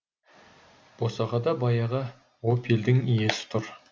босағада баяғы опельдің иесі тұр